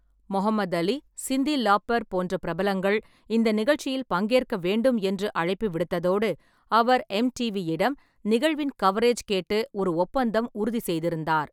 Mohammed Ali, Cyndi Lauper போன்ற பிரபலங்கள் இந்த நிகழ்ச்சியில் பங்கேற்க வேண்டும் என்று அழைப்பு விடுத்ததோடு அவர் எம்.டி.வி.-இடம் நிகழ்வின் கவரேஜ் கேட்டு ஒரு ஒப்பந்தம் உறுதி செய்திருந்தார்.